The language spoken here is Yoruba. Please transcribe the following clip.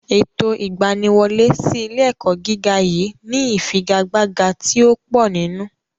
Ètò ìgbaniwọlé sí ilé-ẹ̀kọ́ gíga yìí ni ìfigagbága tí ó pò nínú.